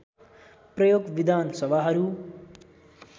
प्रयोग विधान सभाहरू